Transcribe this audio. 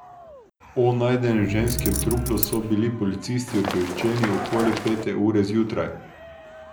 O najdenem ženskem truplu so bili policisti obveščeni okoli pete ure zjutraj.